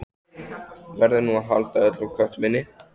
Verður nú að halda öllum köttum inni?